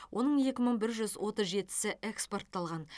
оның екі мың бір жүз отыз жетісі экспортталған